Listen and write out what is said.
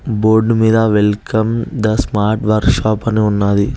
Board మీద welcome the smart workshop అని ఉన్నాది.